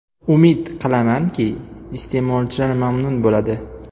Umid qilamanki, iste’molchilar mamnun bo‘ladi.